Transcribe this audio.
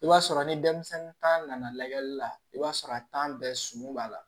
I b'a sɔrɔ ni denmisɛnnin ta nana lajɛli la i b'a sɔrɔ a bɛɛ sumu b'a la